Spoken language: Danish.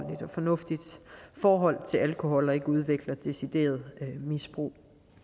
fornuftigt forhold til alkohol og ikke udvikler et decideret misbrug